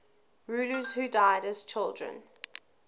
rulers who died as children